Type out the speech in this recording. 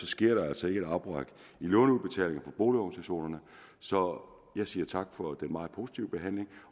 sker der altså ikke et afbræk i låneudbetalingerne for boligorganisationerne så jeg siger tak for den meget positive behandling